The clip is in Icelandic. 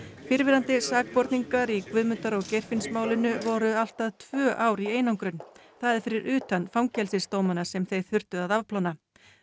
fyrrverandi sakborningar í Guðmundar og Geirfinnsmálinu voru allt að tvö ár í einangrun það er fyrir utan fangelsisdómana sem þeir þurftu að afplána